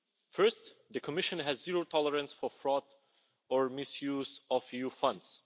First, the Commission has zero tolerance for fraud or misuse of EU funds.